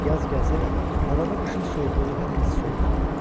Yaz gəlsə də, havada qışın soyuqluğu hələ hiss olunurdu.